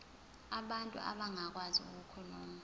abantu abangakwazi ukukhuluma